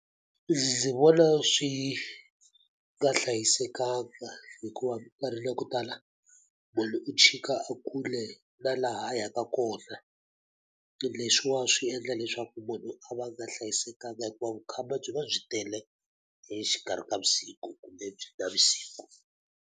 Ndzi vona swi nga hlayisekanga hikuva minkarhini ya ku tala, munhu u tshika a kule na laha a yaka kona. Leswiwa swi endla leswaku munhu a va nga hlayisekanga hikuva vukhamba byi va byi tele hi exikarhi ka vusiku kumbe byi navusiku.